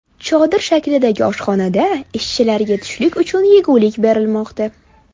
Chodir shaklidagi oshxonada ishchilarga tushlik uchun yegulik berilmoqda.